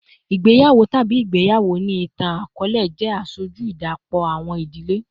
Igbeyawo tabi igbeyawo ni itan-akọọlẹ jẹ aṣoju idapọ awọn idile